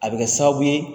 A bɛ kɛ sababu ye